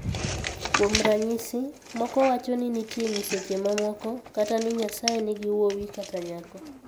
Kuom ranyisi, moko wacho ni nitie nyiseche mamoko, kata ni Nyasaye nigi wuowi kata nyako.